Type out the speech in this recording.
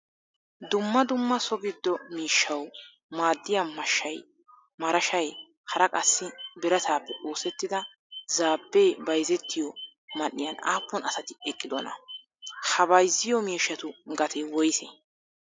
Dumma dumma so giddo miishshawu maadiyaa mashay, marashay hara qassi biratappe oosettida zaabe bayzzettiyo man'iyan appun asati eqqidona? Ha bayzziyo miishshatu gatee woyse?